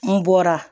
N bɔra